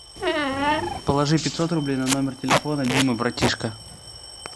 положи пятьсот рублей на номер телефона дима братишка